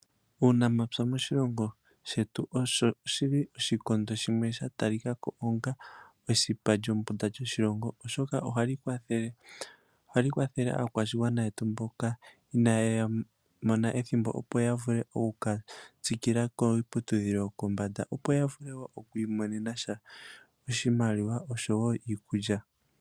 Uunamapya moshilongo shetu osho shili oshikondo sha talikako onga esipa lyombunda lyomoshilongo oshoka ohali kwathele aakwashigwana yetu mboka inaya mona ethimbo opo yavule oku katsikila kiiputudhilo yopombanda opo yavile woo okwiimonena sha oshimaliwa osho woo iikulya.